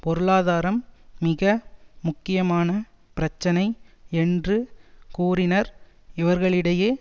பொருளாதாரம் மிக முக்கியமான பிரச்சினை என்று கூறினர் இவர்களிடையே